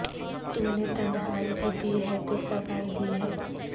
تو نے تنہائی بھی دی ہے تو سبائی دی ہے